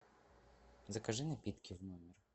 закажи напитки в номер